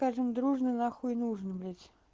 скажем дружно н нужен блять